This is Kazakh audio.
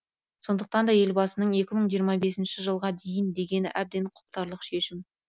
сондықтан да елбасының екі мың жиырма бесінші жылға дейін дегені әбден құптарлық шешім